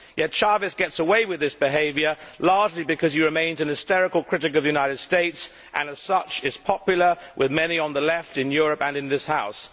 Yet Chávez gets away with this behaviour largely because he remains a hysterical critic of the United States and, as such, is popular with many on the Left in Europe and in this House.